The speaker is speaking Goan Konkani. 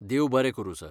देव बरें करूं सर.